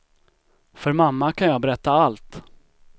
För mamma kan jag berätta allt.